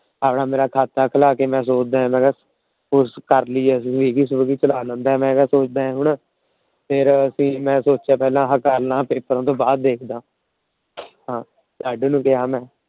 ਮੇਰਾ ਖਾਤਾ ਖੁਲਾ ਦੇ। ਕਰ ਲਈਏ ਅਸੀਂ ਵੀ ਕੁਛ ਨਾ ਕੁਛ ਫੇਰ ਅਸੀਂ ਮੈ ਸੋਚਿਆ ਆ ਕਰ ਲਾ ਪੇਪਰਾਂ ਤੋਂ ਬਾਅਦ ਦੇਖਦਾ ਮੈ। ਲੱਡੂ ਨੂੰ ਕਿਹਾ ਮੈ।